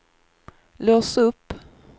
lås upp